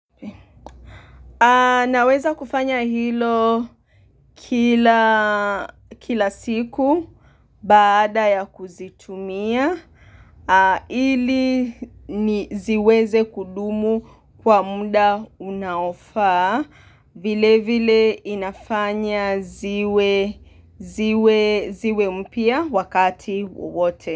Naweza kufanya hilo kila siku, baada ya kuzitumia, ili ni ziweze kudumu kwa muda unaofaa, vile vile inafanya ziwe mpya wakati wote.